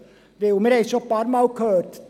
Denn wir haben es bereits mehrfach gehört: